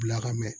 Bila ka mɛn